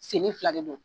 Senni fila de don